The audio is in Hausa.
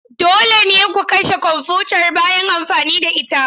Dole ne ku kashe kwamfutar bayan amfani da ita.